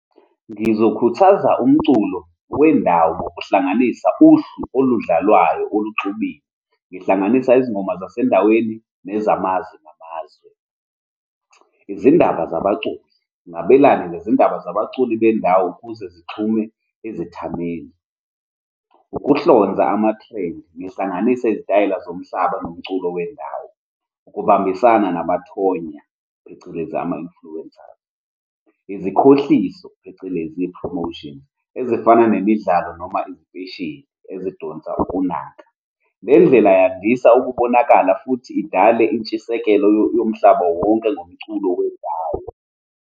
Ngizokhuthaza umculo wendawo ngokuhlanganisa uhlu oludlalayo oluxubile. Ngihlanganisa izingoma zasendaweni nezamazwe namazwe. Izindaba zabaculi, ngingabelane ngezindaba zabaculi bendawo ukuze zixhume izethameli. Ukuhlonza ama-trend, ngihlanganise izitayela zomhlaba nomculo wendawo, ukubambisana nabathonya, phecelezi, ama-influencers, izikhohlisayo, phecelezi, promotions, ezifana nemidlalo noma imfeshini ezidonsa ukunaka. Le ndlela yandisa ukubonakala futhi idale intshisekelo yomhlaba wonke ngomculo wendawo.